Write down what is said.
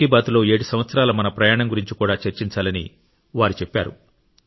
మన్ కీ బాత్లో 7 సంవత్సరాల మన ప్రయాణం గురించి కూడా చర్చించాలని చెప్పారు